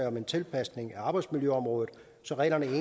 om tilpasning af arbejdsmiljøområdet så reglerne for